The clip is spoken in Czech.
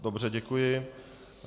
Dobře, děkuji.